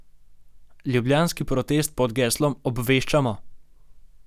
Ljubljanski protest pod geslom Obveščamo!